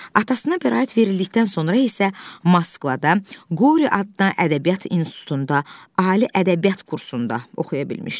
Atasına bəraət verildikdən sonra isə Moskvada Qori adına ədəbiyyat institutunda ali ədəbiyyat kursunda oxuya bilmişdi.